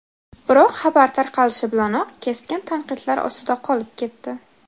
Biroq xabar tarqalishi bilanoq keskin tanqidlar ostida qolib ketdi.